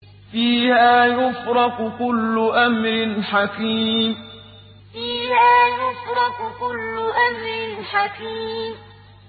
فِيهَا يُفْرَقُ كُلُّ أَمْرٍ حَكِيمٍ فِيهَا يُفْرَقُ كُلُّ أَمْرٍ حَكِيمٍ